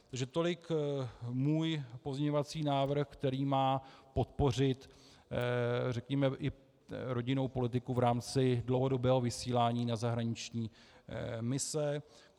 Takže tolik můj pozměňovací návrh, který má podpořit řekněme i rodinnou politiku v rámci dlouhodobého vysílání na zahraniční mise.